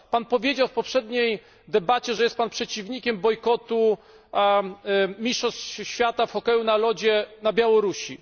Powiedział Pan w poprzedniej debacie, że jest Pan przeciwnikiem bojkotu mistrzostw świata w hokeju na lodzie na Białorusi.